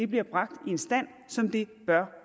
bliver bragt i en stand som det bør